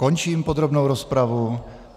Končím podrobnou rozpravu.